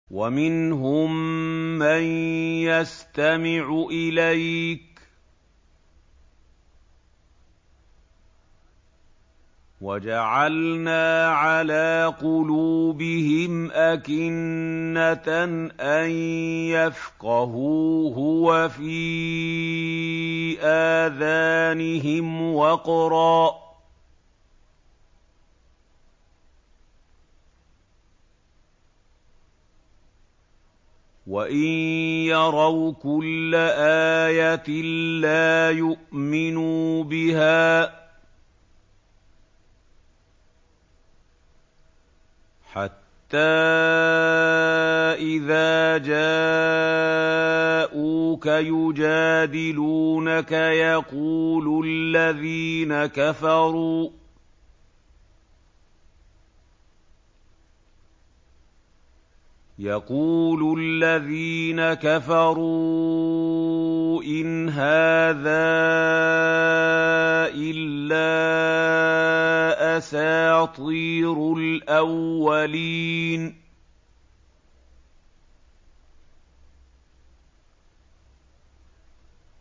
وَمِنْهُم مَّن يَسْتَمِعُ إِلَيْكَ ۖ وَجَعَلْنَا عَلَىٰ قُلُوبِهِمْ أَكِنَّةً أَن يَفْقَهُوهُ وَفِي آذَانِهِمْ وَقْرًا ۚ وَإِن يَرَوْا كُلَّ آيَةٍ لَّا يُؤْمِنُوا بِهَا ۚ حَتَّىٰ إِذَا جَاءُوكَ يُجَادِلُونَكَ يَقُولُ الَّذِينَ كَفَرُوا إِنْ هَٰذَا إِلَّا أَسَاطِيرُ الْأَوَّلِينَ